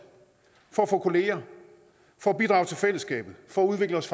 for at få kolleger for at bidrage til fællesskabet for at udvikle